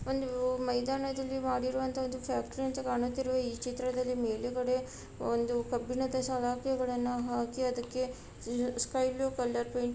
ಒಂದು ಮೈದಾನದಲ್ಲಿ ಮಾಡಿರುವಂತಹ ಒಂದು ಫ್ಯಾಕ್ಟರಿ ಅಂತೆ ಕಾಣುತ್ತಿರುವ ಈ ಚಿತ್ರದಲ್ಲಿ ಮೇಲುಗಡೆ ಒಂದು ಕಬ್ಬಿಣದ ಸಲಾಕೆಗಳನ್ನ ಹಾಕಿ ಅದಕ್ಕೆ ಸ್ಕೈಬ್ಲೂ ಕಲರ್‌ ಪೇಯಿಂಟ್‌ --